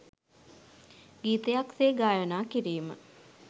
ගීතයක් සේ ගායනා කිරීම